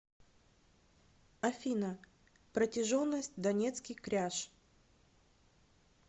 афина протяженность донецкий кряж